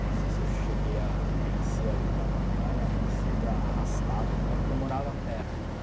Eu não sei se eu cheguei a vencer alguma batalha, mas eu ia arrastado até lá, porque eu morava perto, né?